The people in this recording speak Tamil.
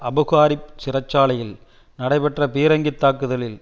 அபுகாரிப் சிறை சாலையில் நடைபெற்ற பீரங்கி தாக்குதலில்